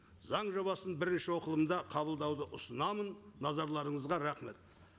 заң жобасын бірінші оқылымда қабылдауды ұсынамын назарларыңызға рахмет